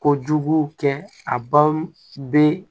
Kojugu kɛ a baw bɛ